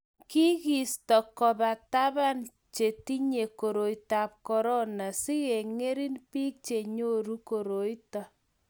Kiki isto koba taban che tinyei koroitab korona sikeng'ering' biik che nyoru koroito